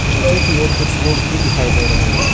नीचे की ओर कुछ लोग भी दिखाई दे रहे हैं।